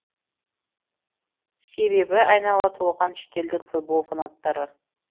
себебі айнала толған шетелдік футбол фанаттары